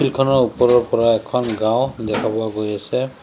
শিলখনৰ ওপৰৰ পৰা এখন গাঁও দেখা পোৱা গৈ আছে।